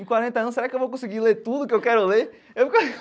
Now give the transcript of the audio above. Em quarenta anos, será que eu vou conseguir ler tudo que eu quero ler? Eu.